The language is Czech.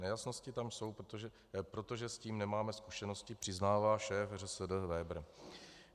Nejasnosti tam jsou, protože s tím nemáme zkušenosti, přiznává šéf ŘSD Vebr.